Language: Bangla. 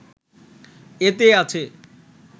এতে আছে